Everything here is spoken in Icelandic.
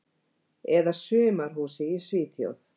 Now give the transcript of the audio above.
Eða sumarhúsi í Svíþjóð.